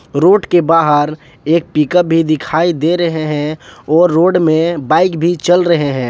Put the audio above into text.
Road के बाहर एक पिकप भी दिखाई दे रहे है और रोड में बाइक भी चल रहे हैं।